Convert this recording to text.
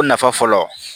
O nafa fɔlɔ